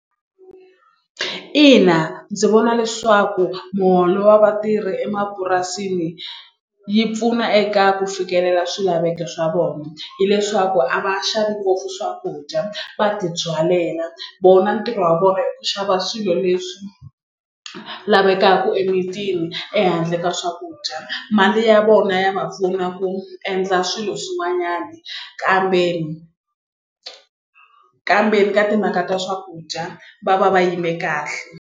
Ina ndzi vona leswaku muholo wa vatirhi emapurasini yi pfuna eka ku fikelela swilaveko swa vona hileswaku a va xavi ngopfu swakudya va ti byalela vona ntirho wa vona i ku xava swilo leswi lavekaka emimitini ehandle ka swakudya mali ya vona ya va pfuna ku endla swilo swin'wanyana kambe, kambe ka timhaka ta swakudya va va va yime kahle.